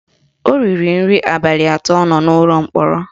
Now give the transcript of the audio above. O righi nri abalị atọ ọ nọ n'ụlọ mkpọrọ